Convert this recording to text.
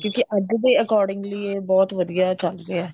ਕਿਉਂਕਿ ਅੱਜ ਦੇ accordingly ਇਹ ਬਹੁਤ ਵਧੀਆ ਚਲ ਰਿਹਾ ਹੈ